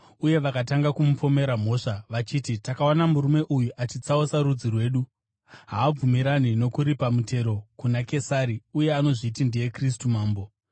Uye vakatanga kumupomera mhosva, vachiti, “Takawana murume uyu achitsausa rudzi rwedu. Haabvumirani nokuripa mutero kuna Kesari uye anozviti ndiye Kristu, mambo.”